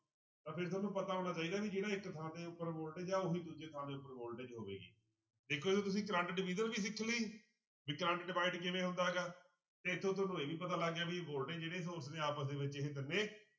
ਪਤਾ ਹੋਣਾ ਚਾਹੀਦਾ ਵੀ ਜਿਹੜਾ ਇੱਕ ਥਾਂ ਦੇ ਉੱਪਰ voltage ਆ ਉਹੀ ਦੂਜੇ ਥਾਂ ਦੇ ਉੱਪਰ voltage ਹੋਵੇਗੀ, ਦੇਖੋ ਤੁਸੀਂ ਕਰੰਟ division ਵੀ ਸਿੱਖ ਲਈ ਵੀ ਕਰੰਟ divide ਕਿਵੇਂ ਹੁੰਦਾ ਗਾ, ਇੱਥੋਂ ਤੁਹਾਨੂੰ ਇਹ ਵੀ ਪਤਾ ਲੱਗ ਗਿਆ ਵੀ voltage ਜਿਹੜੇ source ਨੇ ਆਪਸ ਦੇ ਵਿੱਚ ਇਹ ਤਿੰਨੇ